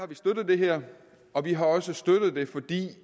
vi støttet det her og vi har også støttet det fordi